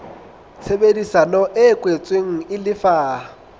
tshebedisano e kwetsweng e lefa